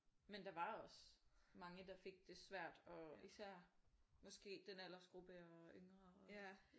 Men der var også mange der fik det svært og især måske den aldersgruppe og yngre ikke